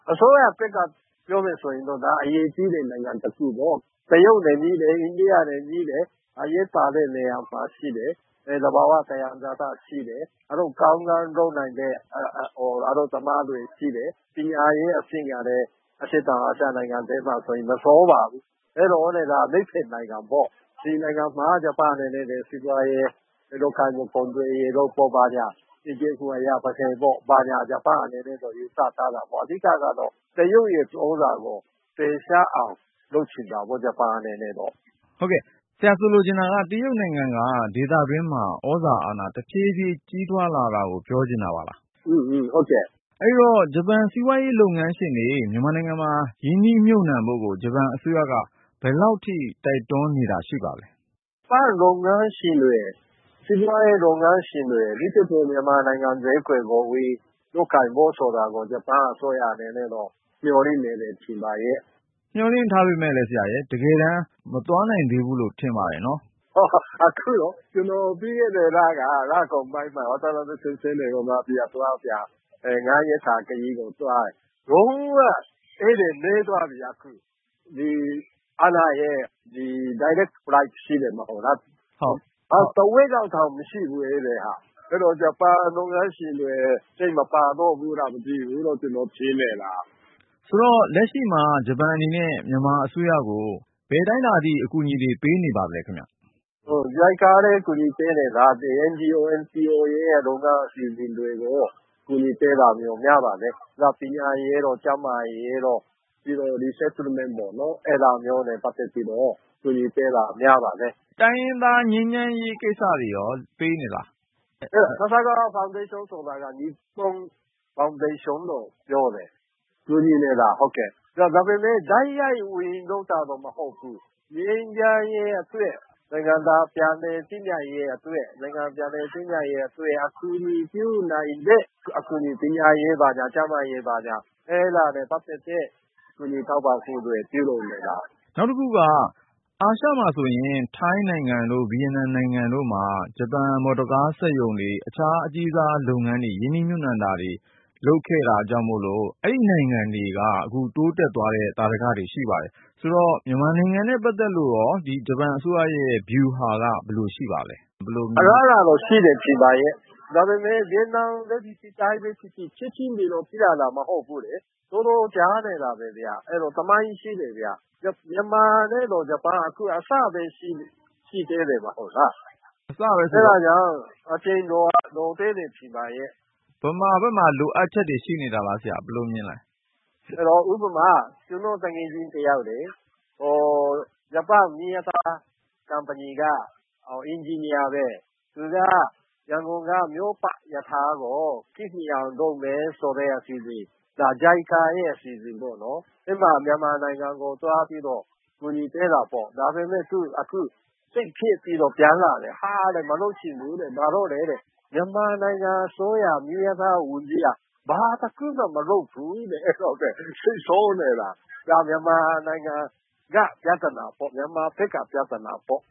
အစိုးရသစ်ကနေ ပြောမယ်ဆိုရင်တော့ ဒါက အရေးကြီးတဲ့ နိုင်ငံတခုပေါ့ ။ တရုတ်နဲ့ နီးတယ် အိန္ဒိယနဲ့ နီးတယ်။ အရေးပါတဲ့နေရာမှာရှိတယ် သဘာ၀ သံယံဇာတရှိတယ်။ အလုပ်ကောင်းကောင်းလုပ်နိုင်တဲ့ အလုပ်သမားတွေရှိတယ်။ ပညာရေးအဆင့်ကလည်း အရှေ့တောင်အာရှနိုင်ငံမှာ မဆိုးပါဘူး။ ဒီနိုင်ငံမှာ ဂျပန်အနေနဲ့ စီးပွားရေး နောက်ပြီး သူတို့ကုန်သွယ်ရေးတို့ဘာညာတွေကို ဂျပန်အနေနဲ့ ယူဆထားတာပေါ့။ အဓိကတော့ တရုတ် သြဇာကို ဖယ်ရှားအောင်လုပ်ချင်တာပေါ့ ဂျပန်အနေနဲ့တော့။ တရုတ်နိုင်ငံက ဒေသတွင်းမှာ သြဇာအာဏာ တဖြည်းဖြည်း ကြီးထွားလာတာကို ပြောချင်တာပါလား။ ဟုတ်တယ်။ အဲဒီတော့ ဂျပန်စီးပွားရေးလုပ်ငန်းရှင်တွေ မြန်မာနိုင်ငံမှာ ရင်းနှီးမြှုပ်နှံဖို့ကို ဂျပန်အစိုးရက ဘယ်လောက်ထိ တိုက်တွန်းနေတာ ရှိပါသလဲ။ ဂျပန်စီးပွားရေးလုပ်ငန်းရှင်တွေ အထူးသဖြင့် မြန်မာနိုင်ငံဈေးကွက်ကို ဝင်လုပ်ကိုင်ဖို့ဆိုတာကို ဂျပန်အစိုးရအနေနဲ့ကတော့ မျှော်လင့်နေတယ်လို့ထင်ပါတယ်။ မျှော်လင့်ထားပေမယ့်လည်း တကယ်တမ်း မသွားနိုင်ဘူးလို့ ထင်ပါတယ်။ ကျနော်ပြီးခဲ့တဲ့လက လကုန်ပိုင်းမှာ ၅ ရက်ခရီးသွားတယ်။ လုံး၀ ဧည့်သည်နည်းသွားပြီအခု ။ အားလပ်ရက် price ရှိတယ်မဟုတ်လား အခုက ဧည့်သည်တဝက်လောက်တောင်မရှိဘူး။ အဲဒီတော့ ဂျပန်လုပ်ငန်းရှင်တွေ စိတ်မပါတော့ဘူးလားမသိဘူး ကျနော်ထင်နေတာ။ အဲဒီတော့ လက်ရှိမှာ ဂျပန်အနေနဲ့ မြန်မာအစိုးရကို ဘယ်အတိုင်းအတာထိ အကူအညီပေးနေပါသလဲ။ JICA ကလည်း အကူအညီတွေ ပေးနေတာ။ NGO/NPO တွေရဲ့လုပ်ငန်း အစီအစဉ်တွေကို အကူအညီပေးတာမျိုး များပါတယ်။ နောက် ပညာရေးတို့ ကျန်းမာရေးတို့ ပြီးတော့ Resettlement ပေါ့နော် အဲဒါမျိုးနဲ့ပတ်သက်ပြီးတော့ အကူညီပေးတာ များပါတယ်။ တိုင်းရင်းသားငြိမ်းချမ်းရေးကိစ္စတွေအတွက်ရော ပေးနေပါသလား။ Sasakawa ဖေါင်ဒေးရှင်းဆိုတာက Nippon ဖေါင်ဒေးရှင်းကိုပြောတာ။ အဲဒီအဖွဲ့က ကူညီနေတာ ဒါပေမယ့် တိုက်ရိုက် ဝင်လုပ်တာတော့ မဟုတ်ဘူး။ ငြိမ်းချမ်းရေးအတွက် နိုင်ငံသားပြန်လည်သင့်မြတ်ရေးအတွက် အကူအညီပြုနိုင်တဲ့ ပညာရေး ကျန်းမာရေး ဘာညာ အဲဒါနဲ့ပတ်သက်တဲ့ ကူညီထောက်ပံ့မှုတွေ ပြုလုပ်နေတာဖြစ်တယ်။ နောက်တခုက အာရှမှာဆိုရင် ထိုင်းတို့ ဗီယက်နမ်နိုင်ငံတို့မှာ ဂျပန်မော်တော်ကား စက်ရုံတွေ၊ အခြားအကြီးစား လုပ်ငန်းတွေ ရင်းနှီးမြှုပ်နှံမှုတွေ လုပ်ခဲ့လို့ အဲဒီနိုင်ငံတွေ တိုးတက်သွားတဲ့ သာဓက ရှိပါတယ်။ မြန်မာနိုင်ငံနဲ့ ပတ်သက်လို့ ဂျပန်အစိုးရရဲ့ ဗျူဟာ ဘယ်လိုရှိပါသလဲ။ အလားအလာတော့ ရှိတယ်ထင်ပါရဲ့။ ဒါပေမယ့် ဗီယက်နမ်ပဲဖြစ်ဖြစ် ထိုင်းပဲဖြစ်ဖြစ် ချက်ချင်း ဒီလိုဖြစ်လာတာတော့ မဟုတ်ဘူးလေ။ တော်တော်ကြာခဲ့တာပဲ၊ အဲဒါ သမိုင်းရှိတာပဲ။ မြန်မာနဲ့တော့ ဂျပန်က အခုအစပဲရှိသေးတယ် မဟုတ်လား။ အဲဒါကြောင့် အချိန်လိုသေးတယ် ထင်ပါရဲ့။ မြန်မာဘက်မှာ လိုအပ်ချက်တွေရှိနေတာလား ၊ ဘယ်လိုမြင်ပါသလဲ။ ဥပမာ ကျနော့်သူငယ်ချင်းတယောက်လေ… ဂျပန်မီးရထား ကုမ္ပဏီက အင်ဂျင်နီယာပဲ၊ သူက ရန်ကုန်က မြို့ပတ်ရထားကို ခေတ်မီအောင်လုပ်မယ်ဆိုတဲ့ အစီအစဉ်အတွက်.. အဲဒါ JICA ရဲ့အစီအစဉ်ပေ့ါနော်။ အဲဒါ မြန်မာနိုင်ငံကို သွားပြီးတော့ အကူအညီပေးတာပေါ့။ ဒါပေမယ့် အခုသူ စိတ်ပျက်ပြီးတော့ ပြန်လာတယ်။ ဟာ မလုပ်ချင်တော့ဘူးတဲ့… ဘာလို့လည်း မေးကြည့်တော့ မြန်မာနိုင်ငံအစိုးရ မီးရထားဝန်ကြီးက ဘာတခုမှ မလုပ်ဘူးတဲ့… အဲဒါ စိတ်ဆိုးနေတာ။ ဒါက မြန်မာနိုင်ငံက ပြဿနာ၊ မြန်မာဘက်က ပြဿနာပေါ့